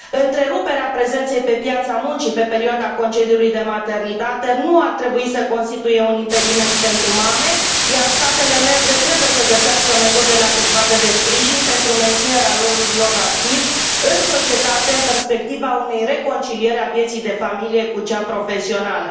Întreruperea prezenței pe piața muncii pe perioada concediului de maternitate nu ar trebui să constituie un impediment pentru mame, iar statele membre trebuie să găsească metodele adecvate de sprijin pentru menținerea rolului lor activ în societate, în perspectiva unei reconcilieri a vieții de familie cu cea profesională.